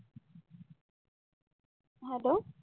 hello